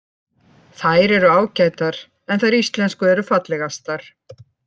Þær eru ágætar, en þær íslensku eru fallegastar.